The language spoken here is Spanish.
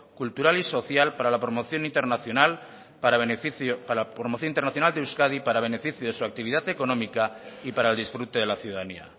cultural y social para la promoción internacional de euskadi para beneficio de su actividad económica y para el disfrute de la ciudadanía